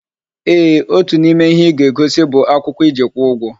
Eeh, Otu n'ime ihe ịga-egosi bụ akwụkwọ iji kwụọ ugwo